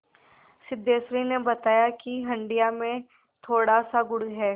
सिद्धेश्वरी ने बताया कि हंडिया में थोड़ासा गुड़ है